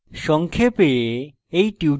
সংক্ষেপে